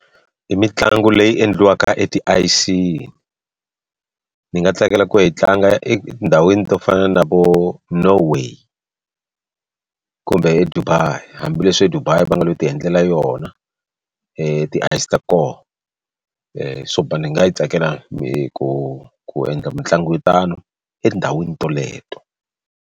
I mitlangu leyi endliwaka etiayisini ni nga tsakela ku yi tlanga etindhawini to fana na vo Norway kumbe eDubai hambileswi eDubai va nga lo ti endlela yona tiayisi ta koho so ni nga tsakela ku ku ku endla mitlangu yo tano etindhawini toleto.